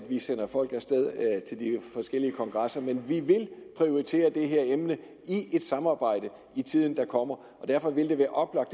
vi sender folk af sted til de forskellige kongresser men vi vil prioritere det her emne i et samarbejde i tiden der kommer og derfor vil det være oplagt